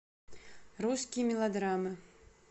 русские мелодрамы